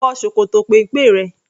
Wọ ṣòkòtò péńpé rẹ!